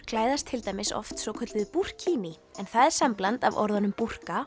klæðast til dæmis oft svokölluðu en það er sambland af orðunum